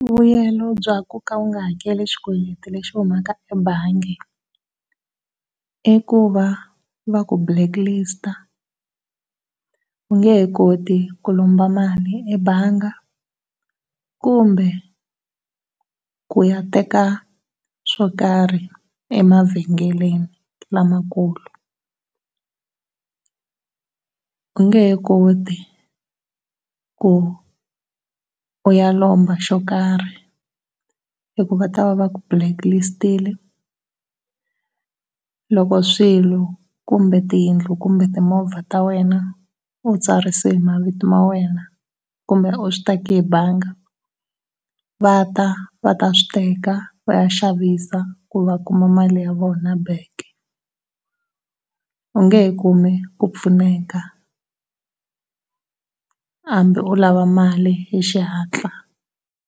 Vuyelo bya ku ka u nga hakeli xikweleti lexi humaka ebangi i ku va ku balcklist-a, u nge he koti ku lomba mali ebangi kumbe ku ya teka swokarhi emavhengeleni lamakulu. U nge he koti ku u ya lomba xo karhi hi ku va ta va va ku blacklist-ile. Loko swilo kumbe tiyindlu kumbe timovha ta wena u tsarise hi mavito ma wena kumbe u swi teke hi bangi va ta va ta swi teka vaya xavisa ku va kuma mali ya vona back. U nge he kumi ku pfuneka hambi u lava mali hi xihatla.